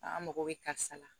An mago bɛ karisa la